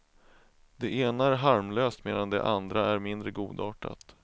Det ena är harmlöst medan det andra är mindre godartat.